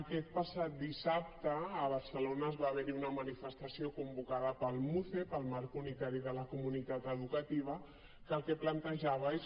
aquest passat dissabte a barcelona va haver hi una manifestació convocada pel muce el marc unitari de la comunitat educativa que el que plantejava és